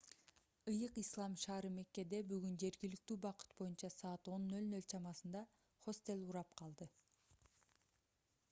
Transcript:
ыйык ислам шаары меккеде бүгүн жергиликтүү убакыт боюнча саат 10:00 чамасында хостел урап калды